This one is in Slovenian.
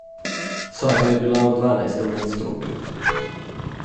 Soba je bila v dvanajstem nadstropju.